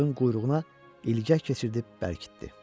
Balığın quyruğuna ilgək keçirdib bərkitdi.